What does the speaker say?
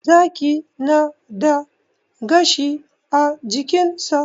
Zaki na da gashi a jikinsa.